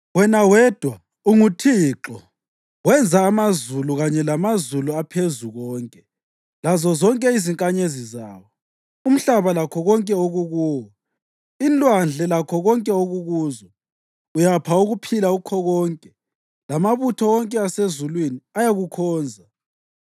Wena wedwa unguThixo. Wenza amazulu, kanye lamazulu aphezukonke, lazozonke izinkanyezi zawo, umhlaba lakho konke okukuwo, inlwandle lakho konke okukuzo. Uyapha ukuphila kukho konke, lamabutho wonke asezulwini ayakukhonza.